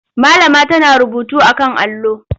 Malama tana rubutu a kan allo.